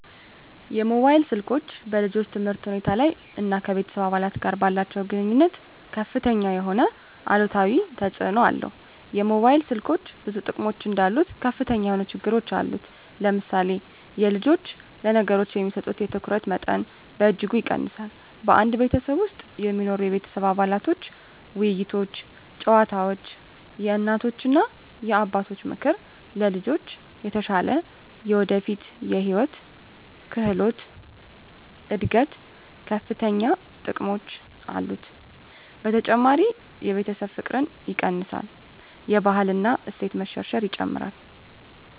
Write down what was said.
የሞባይል ስልኮች በልጆች ትምህርት ሁኔታ ላይ እና ከቤተሰብ አባላት ጋር ባላቸዉ ግንኙነት ከፍተኛ የሆነ አሉታዊ ተፅእኖ አለው የሞባይል ስልኮች ብዙ ጥቅሞች እንዳሉት ከፍተኛ የሆነ ችግሮች አሉት ለምሳሌ የልጆች ለነገሮች የሚሰጡትን የትኩረት መጠን በእጅጉ ይቀንሳል በአንድ ቤተሰብ ውስጥ የሚኖሩ የቤተሰብ አባላቶች ውይይቶች ጨዋታወች የእናቶች እና አባቶች ምክር ለልጆች ተሻለ የወደፊት የህይወት ክህሎት እድገት ከፈተኛ ጥቅሞች አሉት። በተጨማሪ የቤተሰብ ፍቅርን ይቀንሳል የባህል እና እሴት መሸርሸር ይጨምራል።